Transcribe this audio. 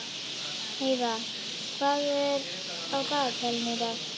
Heida, hvað er á dagatalinu í dag?